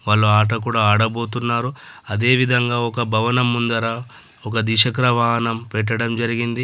వాళ్లు ఆట కూడా ఆడబోతున్నారు అదేవిధంగా ఒక భవనం ముందర ఒక ద్విచక్ర వాహనం పెట్టడం జరిగింది.